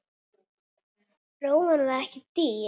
Rófan var ekki dýr.